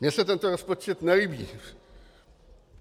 Mně se tento rozpočet nelíbí.